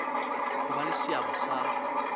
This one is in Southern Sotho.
ho ba le seabo sa